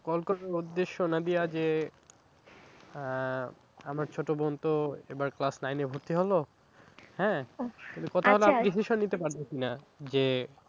Call করার উদ্দেশ্য নাদিয়া যে আহ আমার ছোট বোন তো এবার class nine এ ভর্তি হলো হ্যাঁ, ও একটু কথা বলা decision নিতে পারবে কি না? যে